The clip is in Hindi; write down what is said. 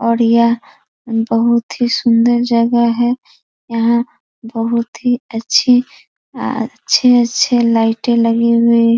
और यह बहुत ही सुंदर जगह है | यहाँ बहुत ही अच्छी अच्छे-अच्छे लाइटें लगी हुई --